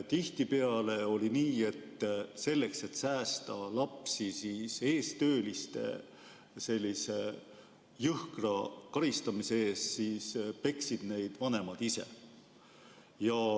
Tihtipeale oli nii, et selleks, et säästa lapsi eestöölise jõhkra karistuse eest, peksid vanemad neid ise.